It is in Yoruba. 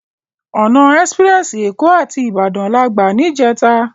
Òná èsipirèsi Ékò àti Ibadan làgbá nijètá